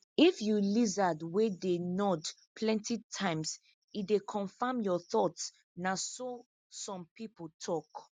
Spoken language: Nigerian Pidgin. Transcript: if you lizard wey dey nod plenty times e dey confirm your thoughts na so some people tok